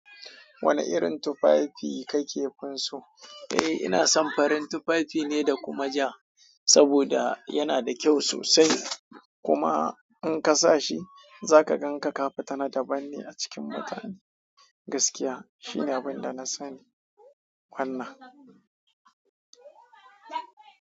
Wane irin tufafi kake finso? Eh ina son farin tufafi ne da kuma ja, saboda yana da kyau sosai. Kuma in ka sa shi za ka gan ka kafita na daban ne a cikin mutane. Gaskiya shi ne abin da na sani. Wannan.